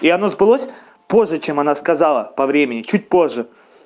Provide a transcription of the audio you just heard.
и оно сбылось позже чем она сказала по времени чуть позже